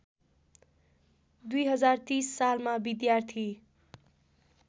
२०३० सालमा विद्यार्थी